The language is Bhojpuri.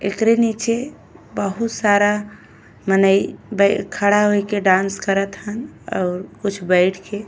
एकरे नीचे बहुत सारा मनही बई खड़ा होये के डांस करत हा और कुछ बैठ के --